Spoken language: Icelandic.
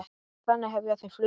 Þannig hefja þau flugið.